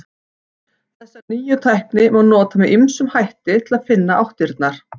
Þessa nýju tækni má nota með ýmsum hætti til að finna áttirnar.